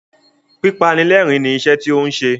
Pípanilẹ́rìn-ín ni iṣẹ́ rẹ tí ó ń ṣe.